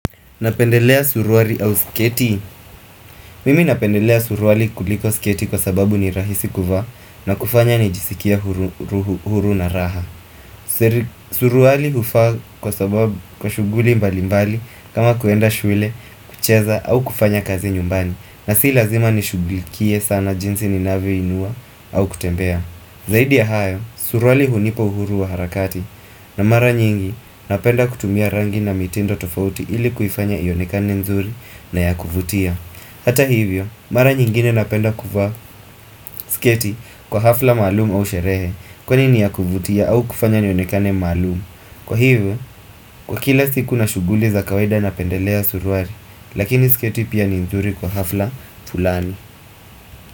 Napendelea suruali au sketi. Mimi napendelea suruali kuliko sketi kwa sababu ni rahisi kuvaa na kufanya ni jisikie huru na raha. Suruali hufaa kwa shughuli mbali mbali kama kuenda shule, kucheza au kufanya kazi nyumbani na si lazima ni shugulikie sana jinsi ni navyoinua au kutembea. Zaidi ya hayo, suruali hunipa uhuru wa harakati na mara nyingi napenda kutumia rangi na mitindo tofauti ili kuifanya ionekane nzuri na ya kuvutia Hata hivyo, mara nyingine napenda kuvaa sketi kwa hafla malumu au sherehe kwani ni yakuvutia au kufanya nionekane maalumu Kwa hivyo, kwa kila siku na shughuli za kawaida napendelea suruwali, lakini sketi pia ni nzuri kwa hafla fulani.